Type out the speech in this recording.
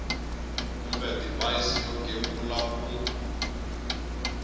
kumbe divhayisi yo gembula ku